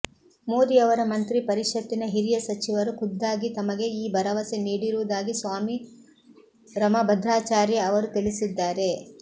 ಮೋದಿ ಅವರ ಮಂತ್ರಿ ಪರಿಷತ್ತಿನ ಹಿರಿಯ ಸಚಿವರು ಖುದ್ದಾಗಿ ತಮಗೆ ಈ ಭರವಸೆ ನೀಡಿರುವುದಾಗಿ ಸ್ವಾಮಿ ರಮಭದ್ರಾಚಾರ್ಯ ಅವರು ತಿಳಿಸಿದ್ದಾರೆ